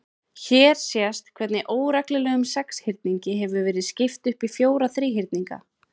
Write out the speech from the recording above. Hér sést hvernig óreglulegum sexhyrningi hefur verið skipt upp í fjóra þríhyrninga.